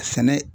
Sɛnɛ